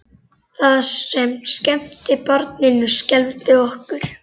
Það sem skemmti barninu skelfdi okkur.